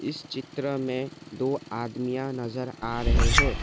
इस चित्र में दो आदमिया नजर आ रहे हैं।